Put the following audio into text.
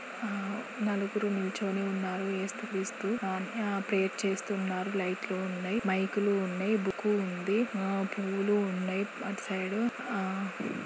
నలుగురు నిల్చొని ఉన్నారు. ఏసుక్రీస్తు ఆ ప్రేయర్ చేస్తూ ఉన్నారు. లైట్లు ఉన్నాయి .బైకలు ఉన్నాయి .బుక్ ఉంది ఆ పూలు ఉన్నాయి అటు సైడ్ .